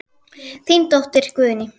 Þín dóttir, Guðný.